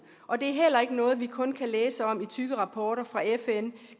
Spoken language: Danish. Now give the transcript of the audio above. og det er heller ikke noget vi kun kan læse om i tykke rapporter fra fn